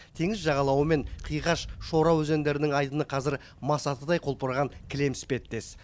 теңіз жағалауы мен қиғаш шора өзендерінің айдыны қазір масатыдай құлпырған кілем іспеттес